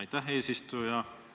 Aitäh, eesistuja!